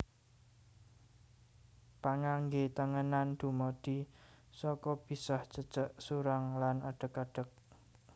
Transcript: Pangangge tengenan dumadi saka bisah cecek surang lan adeg adeg